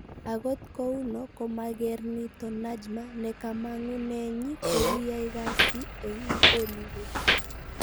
Angot kouno ko mager nito Najma ne kamang'unenyi ko kiyai kasi eng Holiwood